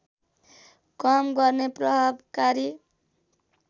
कम गर्ने प्रभावकारी